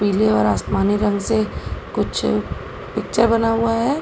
पीले और आसमानी रंग से कुछ पिक्चर बना हुआ है।